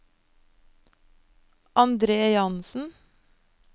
Andre Jansen